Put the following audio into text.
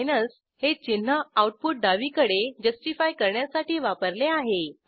minus हे चिन्ह output डावीकडे जस्टिफाय करण्यासाठी वापरले आहे